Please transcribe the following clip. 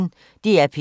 DR P1